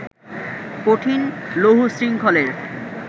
কঠিন লৌহশৃঙ্খলের